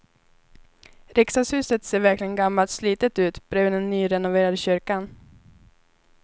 Riksdagshuset ser verkligen gammalt och slitet ut bredvid den nyrenoverade kyrkan.